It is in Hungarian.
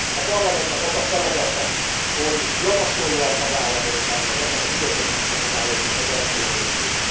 A Parlamentnek az a feladata, hogy javasolja a tagállamoknak ezeknek a bürokratikus akadályoknak az eltörlését.